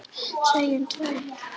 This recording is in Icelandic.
Segjum tveir.